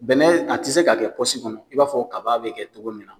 Nanaye a tɛ se ka kɛ pɔsi kɔnɔ i b'a fɔ ko kaba bɛ kɛ cogo min na